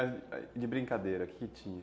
E de brincadeira, o que tinha?